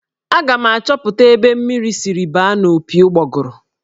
Aga m achọpụta ebe mmiri siri baa n'opi ụgbọgọrọ.